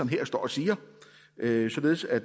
her og siger således at